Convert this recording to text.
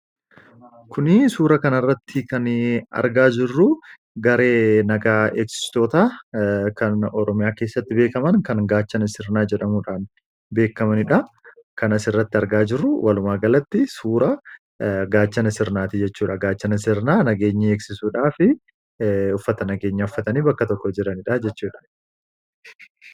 Kuni suura kanarratti kan argaa jirru garee nagaa eegstoota kan oromyaa keessatti beekaman kan gaachan sirnaa jedhamuudhaan beekamaniidha kana s irratti argaa jirru walumaa galatti suura gaachan sirnaati jechuudha gaachana sirnaa nageenyi eegsisuudhaa fi uffata nageenya affatanii bakka tokko jiraniidha jechuudha.